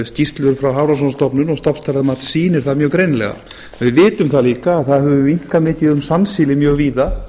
skýrslur frá hafrannsóknastofnun og stofnstærðarmat sýnir það mjög greinilega við vitum það líka að það hefur minnkað mikið um sandsíli mjög víða